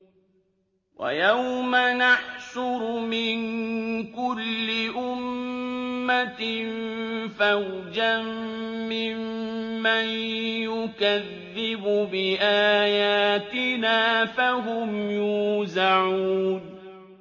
وَيَوْمَ نَحْشُرُ مِن كُلِّ أُمَّةٍ فَوْجًا مِّمَّن يُكَذِّبُ بِآيَاتِنَا فَهُمْ يُوزَعُونَ